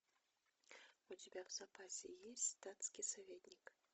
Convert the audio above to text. у тебя в запасе есть статский советник